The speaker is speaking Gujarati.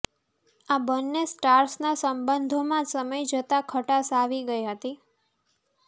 આ બન્ને સ્ટાર્સના સંબંધોમાં સમય જતા ખટાશ આવી ગઈ હતી